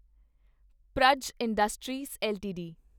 Praj industries LTD